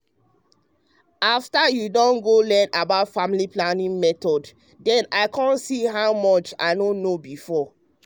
afta you um don know learn about family planning um method um dem i come see how much i no know before.